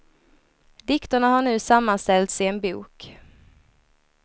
Dikterna har nu sammanställts i en bok.